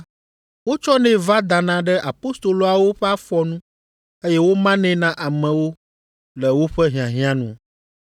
wotsɔnɛ va dana ɖe apostoloawo ƒe afɔ nu eye womanɛ na amewo le woƒe hiahiã nu.